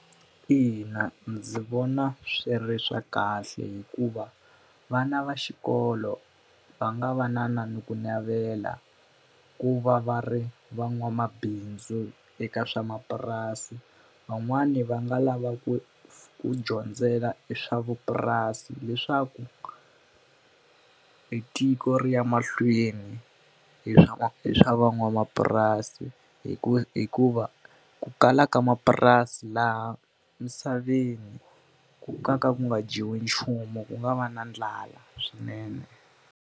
Ina, ndzi vona swi ri swa kahle hikuva vana va xikolo va nga va na ni ku navela ku va va ri van'wamabindzu eka swa mapurasi. Van'wani va nga lava ku ku dyondzela eswavupurasi leswaku i tiko ri ya mahlweni hi swa hi swa van'wamapurasi. Hikuva ku kala ka mapurasi laha misaveni ku ka nga ku nga dyiwi nchumu, ku nga va na ndlala swinene.